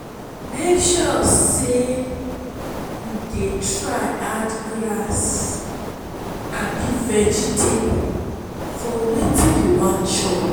mek sure sey yu dey try add grass abi vegetable for wetin yu wan chop